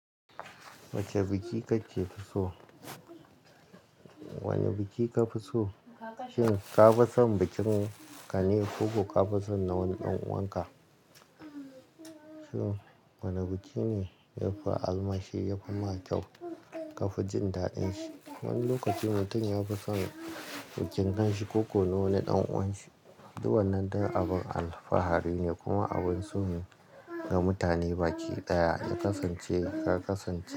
Wace biki kace fi so? Wane biki kafi so? Shin ka fi son bikin ka ne ko ka fi son na wani ɗan uwanka? Wane biki ne yafi alheri, yafi ma kyau ka fi jin daɗin shi? Wani lokaci mutum ya fi son bikin ɗan shi ko ko na wani ɗan uwan shi. Duk wannan dar abun alfahari ne kuma abun so ne ga mutane. Baki ɗaya ya kasance ka kasance.